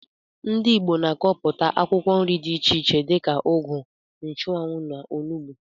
Ndị ìgbo na akọpụta akwụkwọ nri dị iche iche dika ụgụ, nchuanwu, na ọnụgbu.